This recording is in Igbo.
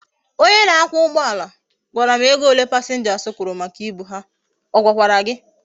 Onye na akwa ugboala gwara m ego ole passengers kwuru maka ibu ha, ogwakwara gi?